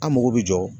An mago bɛ jɔ